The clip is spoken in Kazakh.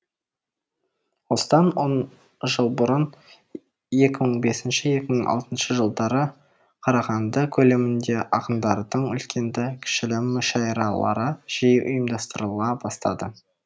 осыдан он жыл бұрын екі мың бес екі мың алтыншы жылдары қарағанды көлемінде ақындардың үлкенді кішілі мүшәйралары жиі ұйымдастырыла бастады